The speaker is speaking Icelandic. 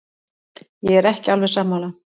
Ég er ekki alveg sammála.